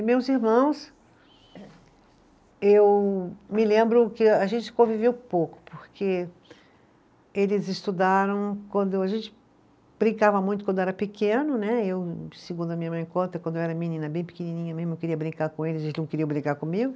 E meus irmãos, eu me lembro que a gente conviveu pouco, porque eles estudaram quando, a gente brincava muito quando era pequeno né, eu, segundo a minha mãe conta, quando eu era menina bem pequenininha mesmo, eu queria brincar com eles, eles não queriam brincar comigo.